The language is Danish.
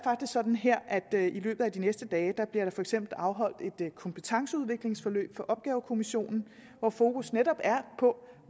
faktisk sådan her at i løbet af de næste dage bliver der for eksempel afholdt et kompetenceudviklingsforløb for opgavekommissionen hvor fokus netop er på